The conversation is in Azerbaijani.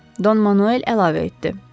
Don Manuel əlavə etdi.